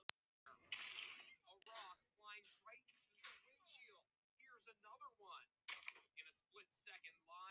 Meira hvað hefur tognað úr þér, drengur!